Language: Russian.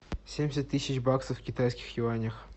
семьдесят тысяч баксов в китайских юанях